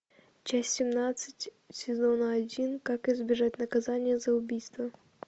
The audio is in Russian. часть семнадцать сезона один как избежать наказания за убийство